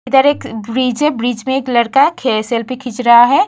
इधर एक ब्रिज है ब्रिज में एक लड़का खे सेल्फी खींच रहा है।